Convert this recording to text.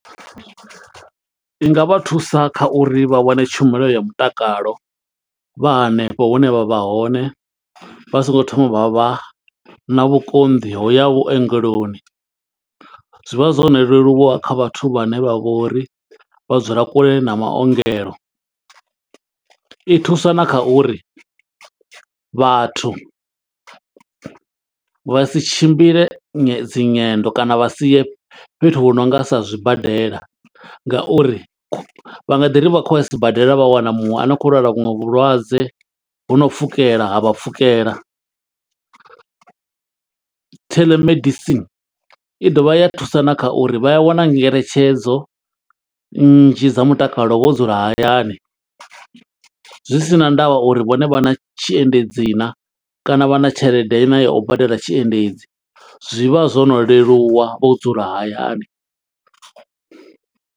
I nga vha thusa kha uri vha wane tshumelo ya mutakalo, vha hanefho hune vha vha hone. Vha songo thoma vha vha na vhukonḓi ho u ya vhuongeloni. Zwi vha zwo no leluwa kha vhathu vhane vha vho uri vha dzula kule na maongelo. I thusa na kha uri vhathu vha si tshimbile nyi dzi nyendo kana vha sie fhethu hu nonga sa zwibadela. Nga uri vha nga ḓi ri vha khou ya sibadela vha wana muṅwe a no khou lwala vhuṅwe vhulwadze ho no pfukela, ha vha pfukela. Telemedicine, i dovha ya thusa na kha uri vha a wana ngeletshedzo nnzhi dza mutakalo wo dzula hayani. Zwi si na ndavha uri vhone vha na tshiendedzi naa, kana vha na tshelede na ya u badela tshiendedzi. Zwi vha zwo no leluwa vho dzula hayani.